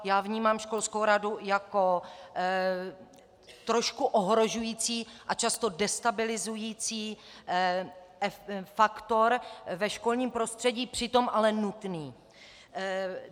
Já vnímám školskou radu jako trošku ohrožující a často destabilizující faktor ve školním prostředí, přitom ale nutný.